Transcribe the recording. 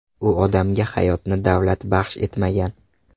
U odamga hayotni davlat baxsh etmagan.